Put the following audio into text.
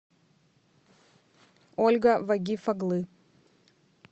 ольга вагиф оглы